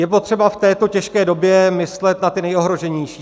Je potřeba v této těžké době myslet na ty nejohroženější.